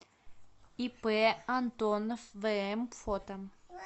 ип антонов вм фото